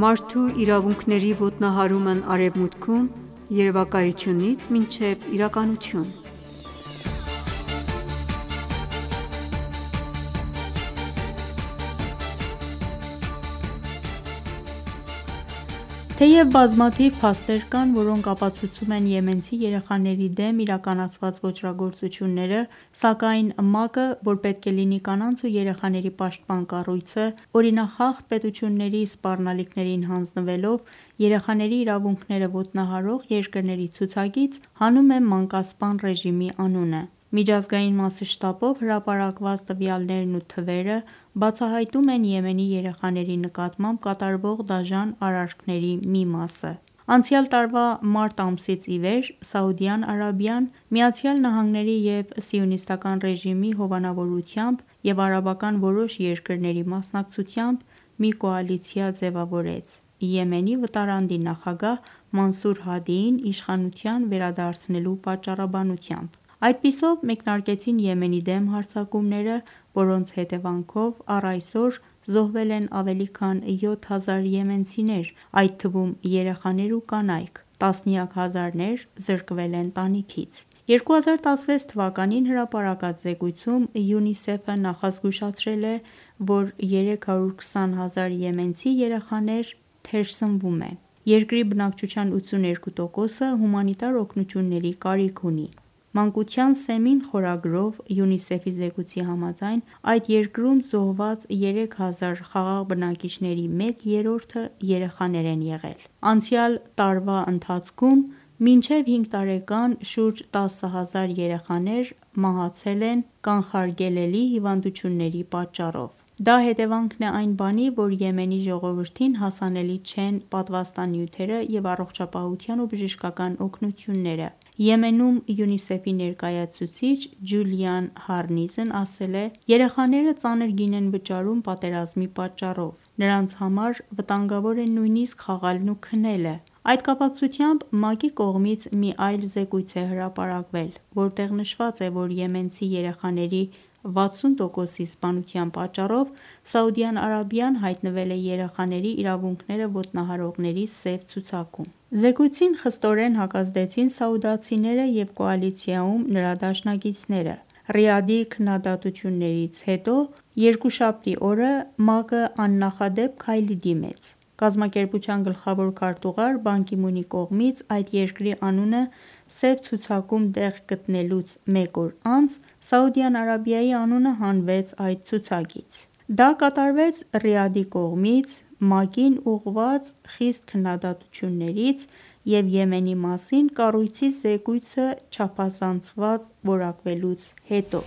Մարդու իրավունքների խախտումն Արևմուտքում. Երևակայությունից մինչև իրականություն(15) Թեև բազմաթիվ փաստեր կան, որոնք ապացուցում են եմենցի երեխաների դեմ իրականացված ոճրագործությունները, սակայն ՄԱԿ-ը, որ պետք է լինի կանանց ու երեխաների պաշտպան կառույցը, օրինախախտ պետությունների սպառնալիքներին հաձնվելով, երեխաների իրավունքները ոտնահարող երկրների ցուցակից հանում է մանկասպան ռեժիմի անունը: Միջազգային մասշտաբով հրապարակված տվյալներն ու թվերը բացահայտում են Եմենի երեխաների նկատմամբ կատարվող դաժան արարքների մի մասը: Անցյալ տարվա մարտ ամսից ի վեր, Սաուդյան Արաբիան ՝ ԱՄՆ-ի և Սիոնիստական ռեժիմի հովանավորությամբ և արաբական որոշ երկրների մասնակցությամբ մի կոալիցիա ձևավորեց ՝ Եմենի վտարանդի նախագահ ՝ Մանսուր Հադիին իշխանության վերադարձնելու պատճառաբնությամբ: Այդպիսով մեկնարկեցին Եմենի դեմ հարձակումները, որոնց հետևանքով առ այսօր զոհվել են ավելի քան 7000 եմենցիներ, այդ թվում երեխաներ ու կանայք: Տասնյակ հազարներ զրկվել են տանիքից: 2016 թվականին հրապարակած զեկույցում, ՅՈՒՆԻՍԵՖ-ը նախազգուշացրել է, որ 320 հազար եմենցի երեխաներ թերսնվում են: Երկրի բնակչության 82 տոկոսը հումանիտար օգնությունների կարիք ունի: «Մանկության սեմին» խորագրով ՅՈՒՆԻՍԵՖ-ի զեկույցի համաձայն, այդ երկրում զոհված երեք հազար խաղաղ բնակիչների մեկ երրորդը երեխաներ են եղել: Անցյալ տարվա ընթացքում, մինչև հինգ տարեկան շուրջ տասը հազար երեխաներ մահացել են կանխարգելելի հիվանդությունների պատճառով: Դա հետևանքն է այն բանի, որ Եմենի ժողովրդին հասանելի չեն պատվաստանյութերը և առողջապահության ու բժշկական օգնությունները: Եմենում ՅՈՒՆԻՍԵՖ-ի ներկայացուցիչ ՝ Ջուլիան Հարնիզն ասել է .-«Երեխաները ծանր գին են վճարում պատերազմի պատճառով: Նրանց համար վտանգավոր են նույնիսկ խաղալն ու քնելը»: Այդ կապակցությամբ ՄԱԿ-ի կողմից մի այլ զեկույց է հրապարակվել, որտեղ նշված է, որ եմենցի երեխաների 60 տոկոսի սպանության պատճառով, Սաուդյան Արաբիան հայտնվել է երեխաների իրավունքները ոտնահարողների սև ցուցակում: Զեկույցին խստորեն հակազդեցին սաուդացիները և կոալիցիայում նրա դաշնակիցները: Ռիադի քննադատություններից հետո, երկուշաբթի օրը ՄԱԿ-ն աննախադեպ քայլի դիմեց: Կազմակերպության գլխավոր քարտուղար ՝ Պան Գի Մունի կողմից այդ երկրի անունը սև ցուցակում տեղ գտնելուց մեկ օր անց, Սաուդյան Արաբիայի անունը հանվեց այս ցուցակից: Դա կատարվեց Ռիադի կողմից ՄԱԿ-ին ուղղված խիստ քննադատություններից և Եմենի մասին կառույցի զեկույցը «չափազանցված» որակվելուց հետո: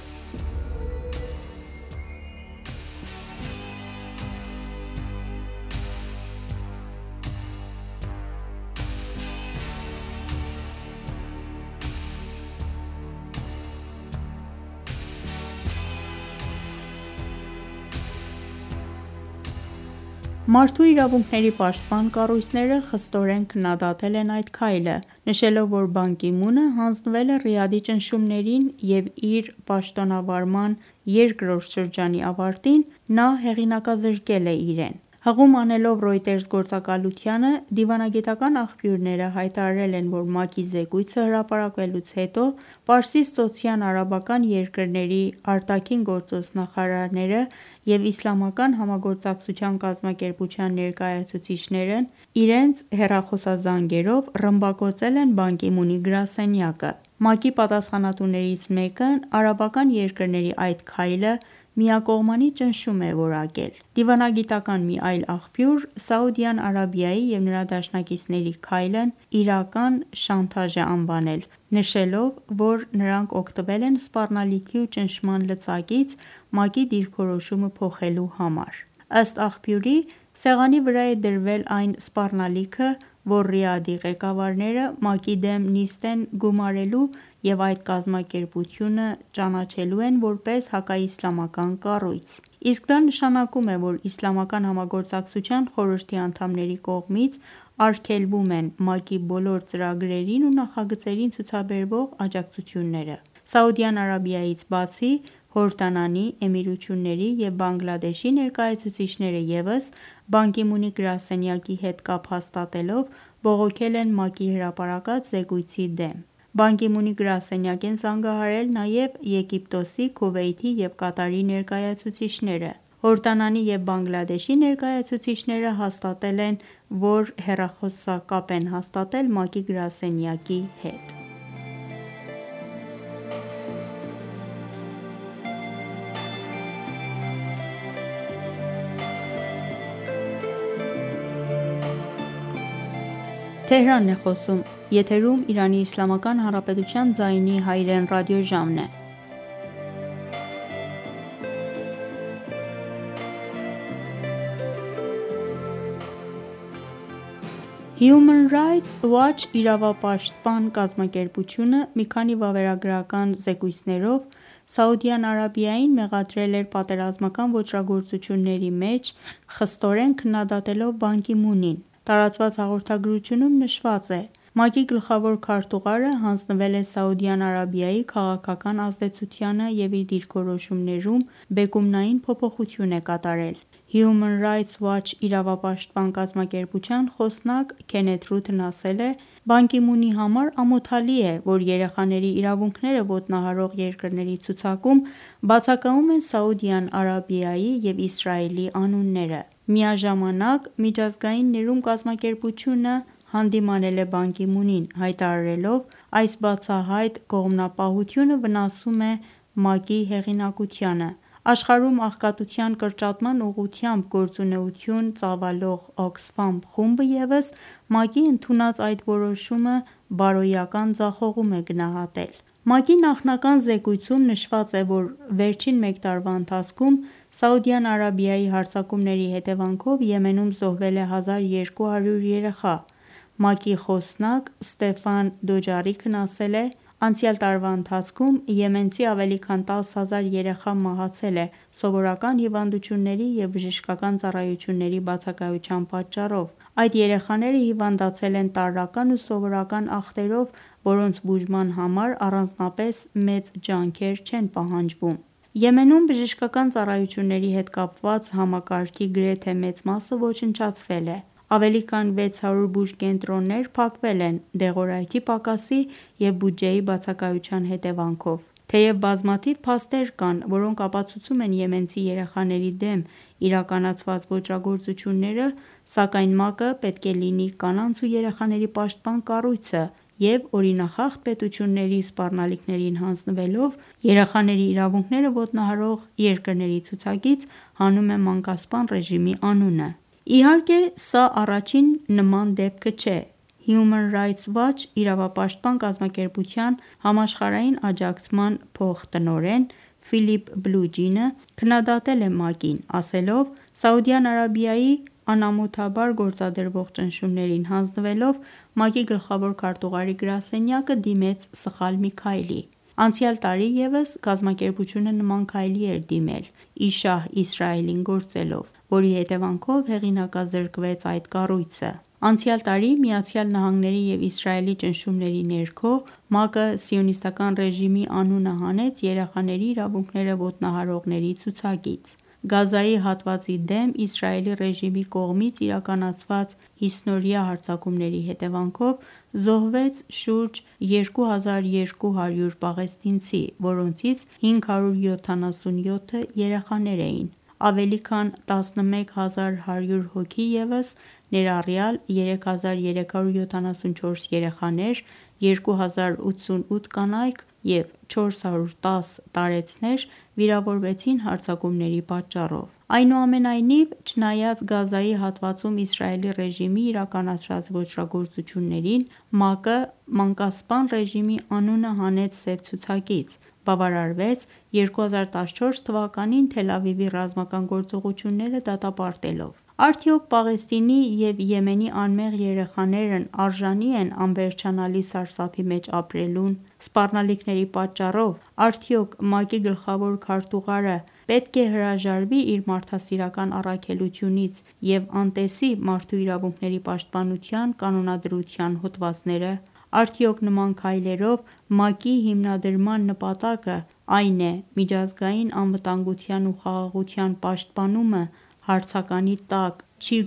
Մարդու իրավունքների պաշտպան կառույցները խստորեն քննադատել են այդ քայլը, նշելով, որ Պան Գի Մունը հանձնվել է Ռիադի ճնշումներին և իր պաշտոնավարման երկրորդ շրջանի ավարտին, նա հեղինակազրկել է իրեն: Հղում անելով «Ռոյտերզ» գործակալությանը դիվանագիտական աղբյուրները հայտարարել են, որ ՄԱԿ-ի զեկույցը հրապարակվելուց հետո, Պարսիցծոցյան արաբական երկրների ԱԳ նախարարները և իսլամական համագործակցության կազմակերպության ներկայացուցիչներն իրենց հեռախոսազանգերով «ռմբակոծել են» Պան Գի Մունի գրասենյակը: ՄԱԿ-ի պատասխանատուներից մեկն արաբական երկրների այդ քայլը «միակողմանի ճնշում» է որակել: Դիվանագիտական մի այլ աղբյուր, Սաուդյան Արաբիայի և նրա դաշնակիցների քայլն «իրական շանտաժ» է անվանել, նշելով, որ նրանք օգտվել են սպառնալիքի ու ճնշման լծակից ՝ ՄԱԿ-ի դիրքորոշումը փոխելու համար: Ըստ աղբյուրի, սեղանի վրա է դրվել այն սպառնալիքը, որ Ռիադի ղեկավարները ՄԱԿ-ի դեմ նիստ են գումարելու և այդ կազմակերպությունը ճանաչելու են, որպես հակաիսլամական կառույց: Իսկ դա նշանակում է, որ իսլամական համագործակցության խորհրդի անդամների կողմից արգելվում են ՄԱԿ-ի բոլոր ծրագրերին ու նախագծերին ցուցաբերվող աջակցությունները: Սաուդյան Արաբիայից բացի, Հորդանանի, Էմիրությունների և Բանգլադեշի ներկայացուցիչները ևս Պան Գի Մունի գրասենյակի հետ կապ հաստատելով, բողոքել են ՄԱԿ-ի հրապարակած զեկույցի դեմ: Պան Գի Մունի գրասենյակ են զանգահարել նաև Եգիպտոսի, Քուվեյթի և Կատարի ներկայացուցիչները: Հորդանանի և Բանգլադեշի ներկայացուցիչները հաստատել են, որ հեռախոսակապ են հաստատել ՄԱԿ-ի գրասենյակի հետ: Human Rights Watch իրավապաշտպան կազմակերպությունը մի քանի վավերագրական զեկույցներով, Սաուդյան Արաբիային մեղադրել էր պատերազմական ոճրագործությունների մեջ ՝ խստորեն քննադատելով Պան Գի Մունին: տարածված հաղորդագրությունում նշված է.-«ՄԱԿ-ի գլխավոր քարտուղարը հանձնվել է Սաուդյան Արաբիայի քաղաքական ազդեցությանը և իր դիրքորոշումներում, բեկումնային փոփոխություն է կատարել: Human Rights Watch իրավապաշտպան կազմակերպության խոսնակ ՝ Քենեթ Ռութն ասել է .-«Պան Գի Մունի համար ամոթալի է, որ երեխաների իրավունքները ոտնահարող երկրների ցուցակում բացակայում են Սաուդյան Արաբիայի և Իսրայելի անունները»: Միաժամանակ, Միջազգային ներում կազմակերպությունը հանդիմանել է Պան Գի Մունին, հայտարարելով .-«Այս բացահայտ կողմնապահությունը վնասում է ՄԱԿ-ի հեղինակությանը»: Աշխարհում աղքատության կրճատման ուղղությամբ գործունեություն ծավալող ՕՔՍՖԱՄ խումբը ևս ՄԱԿ-ի ընդունած այդ որոշումը «բարոյական ձախողում» է գնահատել: ՄԱԿ-ի նախնական զեկույցում, նշված է, որ վերջին մեկ տարվա ընթացքում Սաուդյան Արաբիայի հարձակումների հետևանքով Եմենում զոհվել է 1200 երեխա: ՄԱԿ-ի խոսնակ ՝ Ստեֆան Դուջարիկն ասել է .-«Անցյալ տարվա ընթացքում, եմենցի ավելի քան 10 հազար երեխա մահացել է ՝ սովորական հիվանդությունների և բժշկական ծառայությունների բացակայության պատճառով: Այդ երեխաները հիվանդացել են տարրական ու սովորական ախտերով, որոնց բուժման համար առանձնապես մեծ ջանքեր չեն պահանջվում: Եմենում բժշկական ծառայությունների հետ կապված համակարգի գրեթե մեծ մասը ոչնչացվել է: Ավելի քան 600 բուժկենտրոններ փակվել են ՝ դեղորայքի պակասի և բյուջեի բացակայության հետևանքով: Թեև բազմաթիվ փաստեր կան, որոնք ապացուցում են եմենցի երեխաների դեմ իրականացված ոճրագործությունները, սակայն ՄԱԿ-ը, որ պետք է լինի կանանց ու երեխաների պաշտպան կառույցը, օրինախախտ պետությունների սպառնալիքներին հանձնվելով, երեխաների իրավունքները ոտնահարող երկրների ցուցակից կրճատում է մանկասպան ռեժիմի անունը: Ի հարկե սա առաջին նման դեպքը չէ: Human Rights Watch իրավապաշտպան կազմակերպության համաշխարհային աջակցման փոխտնօրեն ՝ Ֆիլիպ Բլուջինը քննադատել է ՄԱԿ-ին, ասելով .-«Սաուդյան Արաբիայի անամոթաբար գործադրվող ճնշումներին հանձնվելով, ՄԱԿ-ի գլխավոր քարտուղարի գրասենյակը դիմեց սխալ մի քայլի: Անցյալ տարի ևս կազմակերպությունը նման քայլի էր դիմել ՝ ի շահ Իսրայելին գործելով, որի հետևանքով հեղինազրկվեց այդ կառույցը»: Անցյալ տարի ՝ ԱՄՆ-ի և Իսրայելի ճնշումների ներքո, ՄԱԿ-ը Սիոնիստական ռեժիմի անունը հանեց երեխաների իրավունքները ոտնահարողների ցուցակից: Գազայի հատվածի դեմ իսրայելի ռեժիմի կողմից իրականացված հիսնօրյա հարձակումների հետևանքով, զոհվեց շուրջ 2200 պաղեստինցի, որոնցից 577-ը երեխաներ էին: Ավելի քան 11,100 հոգի ևս, ներառյալ ՝ 3374 երեխաներ, 2088 կանայք ու 410 տարեցներ, վիրավորվեցին հարձակումների պատճառով: Այնուամենայնիվ, չնայած Գազայի հատվածում Իսրայելի ռեժիմի իրականացրած ոճրագործություններին, ՄԱԿ-ը մանկասպան ռեժիմի անունը հանեց սև ցուցակից ՝ բավարարվեց 2014 թվականին Թելավիվի ռազմական գործողությունները դատապարտելով: Արդյոք Պաղեստինի և Եմենի անմեղ երեխաներն արժանի ե՞ն անվերջանալի սարսափի մեջ ապրելուն: Սպառնալիքների պատճառով, արդյոք ՄԱԿ-ի գլխավոր քարտուղարը պետք է՞ հրաժարվի իր մարդասիրական առաքելությունից և անտեսի՞ մարդու իրավունքների պաշտպանության կանոնադրության հոդվածները: Արդյոք նման քայլերով, ՄԱԿ-ի հիմնադրման նպատակն, այն է միջազգային անվտանգության ու խաղաղության պաշտպանումը, հարցականի տակ չի՞